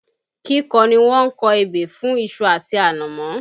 Kíkọ ni wọ́n kọ ebè fún iṣu àti ànàmọ́